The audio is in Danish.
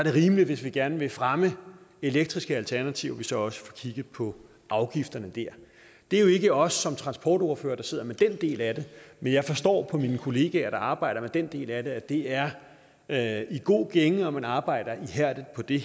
er rimeligt hvis vi gerne vil fremme elektriske alternativer at vi så også får kigget på afgifterne der det er jo ikke os som transportordførere der sidder med den del af det men jeg forstår på mine kollegaer der arbejder med den del af det at det er er i god gænge og at man arbejder ihærdigt på det